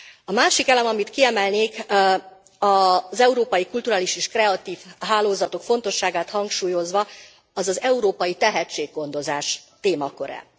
A másik elem, amit kiemelnék, az európai kulturális és kreatív hálózatok fontosságát hangsúlyozva, az az európai tehetséggondozás témaköre.